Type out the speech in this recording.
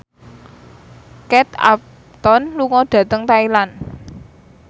Kate Upton lunga dhateng Thailand